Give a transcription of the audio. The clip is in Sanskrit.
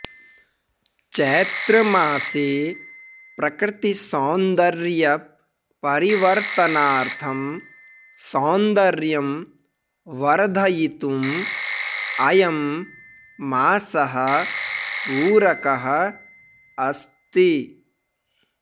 चैत्रमासे प्रकृतिसौन्दर्यपरिवर्तनार्थं सौन्दर्यं वर्धयितुम् अयं मासः पूरकः अस्ति